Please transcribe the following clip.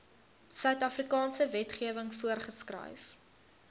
suidafrikaanse wetgewing voorgeskryf